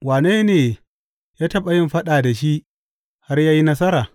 Wane ne ya taɓa yin faɗa da shi har ya yi nasara?